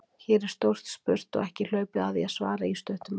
Hér er stórt spurt og ekki hlaupið að því að svara í stuttu máli.